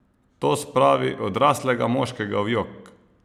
To spravi odraslega moškega v jok!